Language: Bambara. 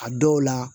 A dɔw la